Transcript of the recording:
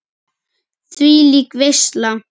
Þvílík veisla.